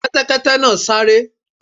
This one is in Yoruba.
Kẹ́tẹ́kẹ́tẹ́ náà sáré.